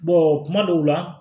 kuma dɔw la